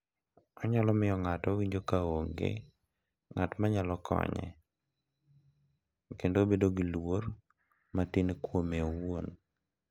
Onyalo miyo ng’ato owinjo ka onge ng’at ma nyalo konye kendo bedo gi luor matin kuome owuon.